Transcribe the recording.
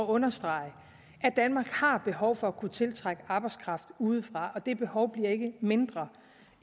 at understrege at danmark har behov for at kunne tiltrække arbejdskraft udefra og det behov bliver ikke mindre